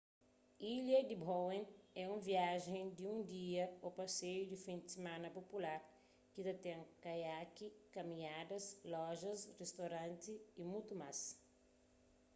ilha di bowen é un viajen di un dia ô paseiu di fin di simana pupular ki ta ten kaiaki kaminhadas lojas ristoranti y mutu más